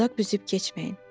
Dodaq büzüb keçməyin.